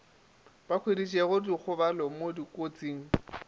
ba hweditšego dikgobalo mo dikotsing